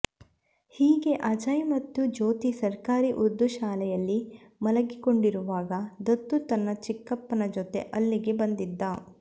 ಹೀಗೆ ಅಜಯ್ ಮತ್ತು ಜ್ಯೋತಿ ಸರ್ಕಾರಿ ಉರ್ದು ಶಾಲೆಯಲ್ಲಿ ಮಲಗಿಕೊಂಡಿರೋವಾಗ ದತ್ತು ತನ್ನ ಚಿಕ್ಕಪ್ಪನ ಜೊತೆ ಅಲ್ಲಿಗೆ ಬಂದಿದ್ದ